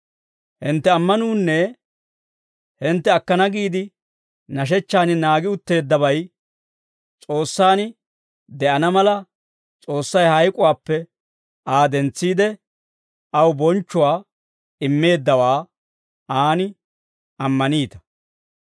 Hintte ammanuunne hintte akkana giide nashechchan naagi utteeddabay S'oossaan de'ana mala, S'oossay hayk'uwaappe Aa dentsiide, aw bonchchuwaa immeeddawaa aan ammaniita.